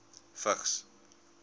vigs